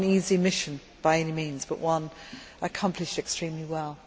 Not an easy mission by any means, but one accomplished extremely well.